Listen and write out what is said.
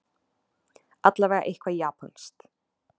Allavega eitthvað japanskt.